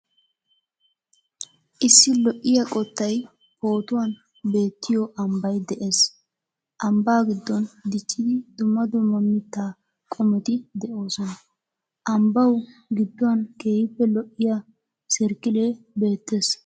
Issi lo'iya qottay pootuwan beettiyo ambbay de'ees. Ambbaa gidoon diccidi dumma dumma mita qimotti de'oosona. Ambbawu giduwan keehiippe lo'iya serkilee beettees.